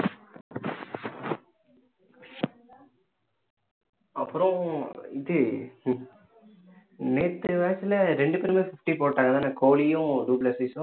அப்புறம் இது நேற்று match ல இரண்டுபேருமே சுத்தி போட்டாங்க இல்ல கோலியும் டு ப்ளேசிஸ்சும்